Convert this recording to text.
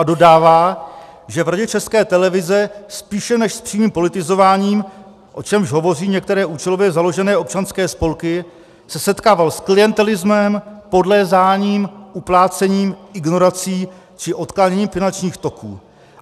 A dodává, že v Radě České televize spíše než s přímým politizováním, o čemž hovoří některé účelově založené občanské spolky, se setkával s klientelismem, podlézáním, uplácením, ignorací či odkláněním finančních toků.